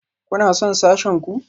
Kuna son sashen ku?